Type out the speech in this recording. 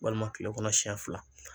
Walima kile kɔnɔ siɲɛ fila